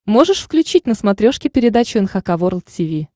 можешь включить на смотрешке передачу эн эйч кей волд ти ви